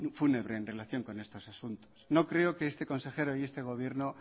fúnebre en relación con estos asuntos no creo que este consejero y este gobierno